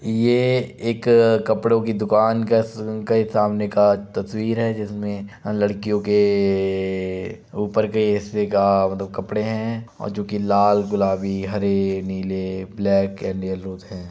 ये एक कपड़ो की दुकान का के सामने का तस्वीर हैं जिसमे लड़कियों के ए ऊपर के हिस्से का मतलब कपड़े हैं और जोकि लाल गुलाबी हरे नीले ब्लैक एंड येलोज हैं।